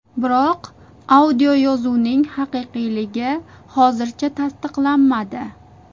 Biroq audioyozuvning haqiqiyligi hozircha tasliqlanmadi.